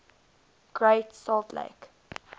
great salt lake